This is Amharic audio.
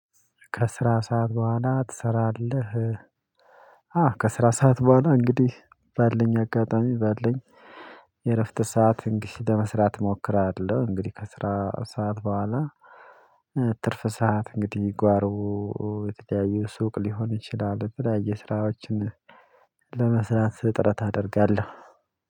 ከስራ ሰዓት በኋላ ትሰራለህ? አዎ ከስራ ሰዓት በኋላ እንግዲህ በልኝ አጋጣሚ በልኝ የእረፍት ሰዓት እንግድ ለመስራት እሞክራለሁ። እንግዲህ ከስራ ሰዓት በኋላ። ትርፍ ሰዓት እንግዲህ ጓሮ የተያዩ ሱቅ ሊሆን ይችላሉ። ብላ የስራዎችን ለመስራት ጥረት አደርጋለሁ።